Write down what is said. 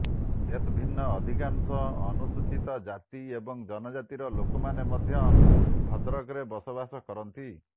ଏତଦ୍ଭିନ୍ନ ଅଧିକାଂଶ ଅନୁସୂଚିତ ଜାତି ଏବଂ ଜନଜାତିର ଲୋକମାନେ ମଧ୍ୟ ଭଦ୍ରକରେ ବସବାସ କରନ୍ତି